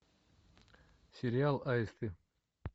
сериал аисты